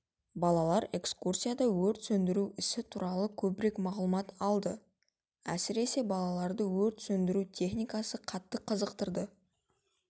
балалар экскурсияда өрт сөндіру ісі туралы көбірек мағлұмат алды әсіресе балаларды өрт сөндіру техникасы қатты қызықтырды